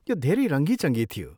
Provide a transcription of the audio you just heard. यो धेरै रङ्गी चङ्गी थियो।